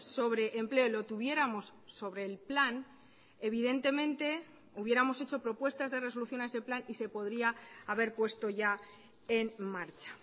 sobre empleo lo tuviéramos sobre el plan evidentemente hubiéramos hecho propuestas de resolución a ese plan y se podría haber puesto ya en marcha